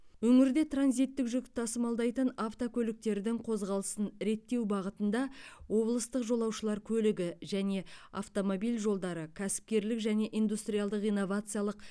өңірде транзиттік жүк тасымалдайтын автокөліктердің қозғалысын реттеу бағытында облыстық жолаушылар көлігі және автомобиль жолдары кәсіпкерлік және индустриалдық инновациялық